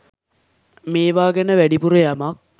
මේවා ගැන වැඩිපුර යමක්.